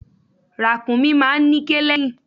Ràkúnmí máa ń níké lẹ́yìn.